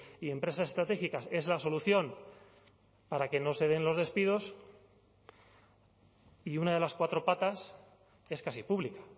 y empresas estratégicas es la solución para que no se den los despidos y una de las cuatro patas es casi pública